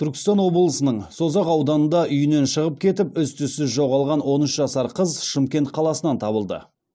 түркістан облысының созақ ауданында үйінен шығып кетіп із түссіз жоғалған он үш жасар қыз шымкент қаласынан табылды